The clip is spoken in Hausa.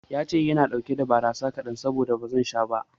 Yace wai yana ɗauke da barasa kaɗan saboda haka bazan sha ba